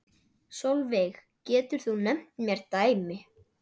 Sólveig: Getur þú nefnt mér dæmi?